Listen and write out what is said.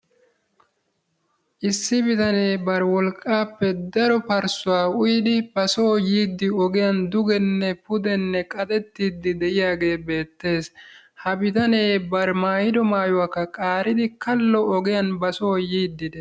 Issi bitane bari wolqqaappe daro parsuwaa uyidi ba so yiidi ogiyani dugenne pudenne qaxxetidi de'iyagee beettees. Ha bitane bari maayiydo maayuwakka qaaridi ba so kallo ogiyan ba so yiidi dees.